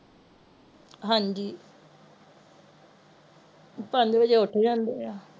ਹਾਂਜੀ ਪੰਜ ਵਜੇ ਉੱਠ ਜਾਂਦੇ ਆ